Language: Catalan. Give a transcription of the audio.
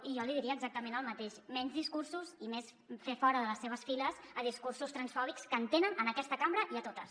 i jo li diria exactament el mateix menys discursos i més fer fora de les seves files discursos transfòbics que en tenen en aquesta cambra i a totes